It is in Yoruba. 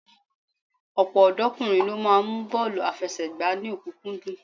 Ọ̀pọ̀ ọ̀dọ́kùnrin ló máa mú bọ́ọ̀lù àfẹsẹ̀gbá ní ọ̀kúnkúndùn